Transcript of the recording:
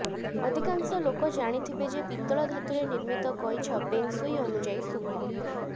ଅଧିକାଂଶ ଲୋକେ ଜାଣିଥିବେ ଯେ ପିତ୍ତଳ ଧାତୁରେ ନିର୍ମିତ କଇଁଛ ପେଙ୍ଗସୁଇ ଅନୁଯାୟୀ ଶୁଭ